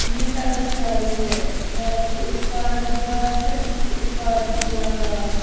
यह सड़क जा रही है सड़क के इस पार भी घास है इस पार भी थोड़ा घास है।